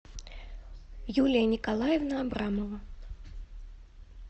юлия николаевна абрамова